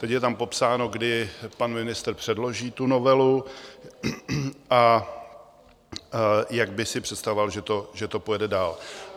Teď je tam popsáno, kdy pan ministr předloží tu novelu a jak by si představoval, že to pojede dál.